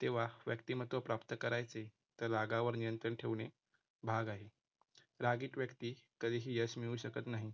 तेव्हा व्यक्तिमत्व प्राप्त करायचे तर रागावर नियंत्रण ठेवणे भाग आहे. रागीट व्यक्ती कधीही यश मिळू शकत नाही.